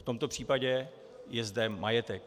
V tomto případě je zde majetek.